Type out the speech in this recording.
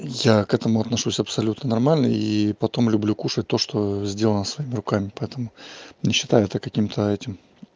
я к этому отношусь абсолютно нормально и потом люблю кушать то что сделано своими руками поэтому не считаю это каким-то этим